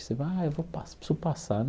Você vai, eu vou passar, preciso passar né.